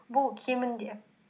бұл кемінде